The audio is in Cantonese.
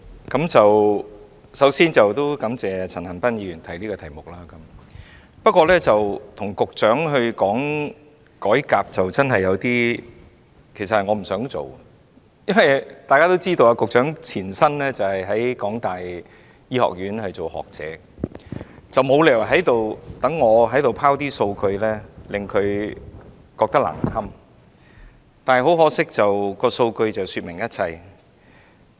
主席，首先，我感謝陳恒鑌議員提出這項議案，但我其實是不想與局長討論改革問題的，因為大家也知道，局長的前身在香港大學醫學院擔任學者，我沒理由在此拋數據令她難堪，但很可惜，數據確實說明了一切。